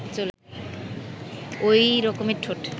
ওই রকমের ঠোঁট